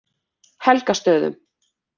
Helgastöðum